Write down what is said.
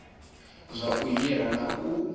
zwa u hira na u